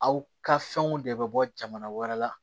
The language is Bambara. Aw ka fɛnw de bɛ bɔ jamana wɛrɛ la